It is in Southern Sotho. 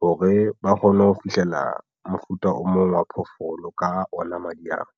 hore ba kgone ho fihlela mofuta o mong wa phoofolo ka ona madi ao.